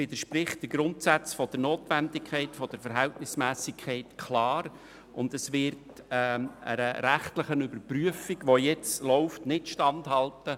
Es widerspricht klar den Grundsätzen von der Notwendigkeit und Verhältnismässigkeit und wird der jetzt laufenden rechtlichen Überprüfung nicht standhalten.